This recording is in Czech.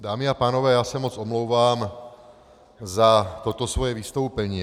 Dámy a pánové, já se moc omlouvám za toto svoje vystoupení.